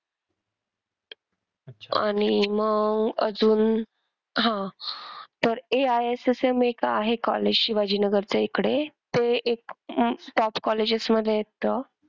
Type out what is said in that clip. आणि अह मग अजून हा तर AISSM एक आहे college शिवाजीनगर इकडे ते एक top colleges मध्ये येत.